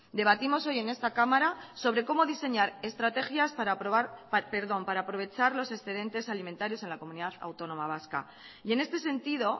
debatimos hoy en esta cámara sobre cómo diseñar estrategias para aprovechar los excedentes alimentarios en la comunidad autónoma vasca y en este sentido